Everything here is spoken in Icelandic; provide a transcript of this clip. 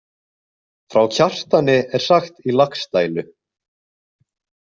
Frá Kjartani er sagt í Laxdælu.